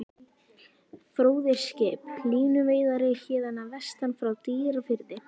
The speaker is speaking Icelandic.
Fróði er skip, línuveiðari héðan að vestan, frá Dýrafirði.